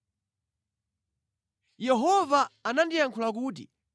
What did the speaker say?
Yehova anandiyankhula kuti: